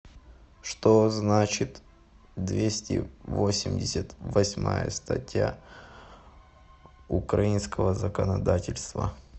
что значит двести восемьдесят восьмая статья украинского законодательства